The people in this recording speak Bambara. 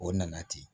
O nana ten